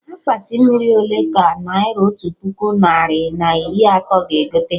Akpati mmiri ole ka naira otu puku narị na iri atọ ga egote?